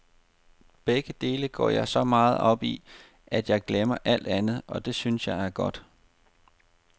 Begge dele går jeg så meget op i, at jeg glemmer alt andet, og det synes jeg er godt.